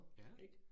Ja